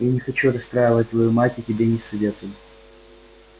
я не хочу расстраивать твою мать и тебе не советую